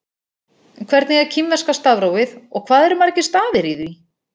Hvernig er kínverska stafrófið og hvað eru margir stafir í því?